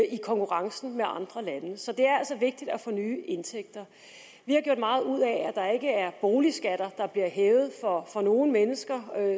i konkurrencen med andre lande så det er altså vigtigt at få nye indtægter vi har gjort meget ud af at der ikke er boligskatter der bliver hævet for nogen mennesker